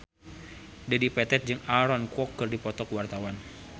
Dedi Petet jeung Aaron Kwok keur dipoto ku wartawan